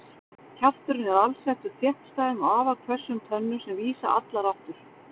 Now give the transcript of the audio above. Kjafturinn er alsettur þéttstæðum og afar hvössum tönnum sem vísa allar aftur.